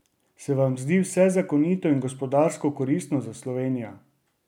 Se vam zdi vse zakonito in gospodarsko koristno za Slovenijo?